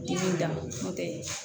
Dimi dantɛ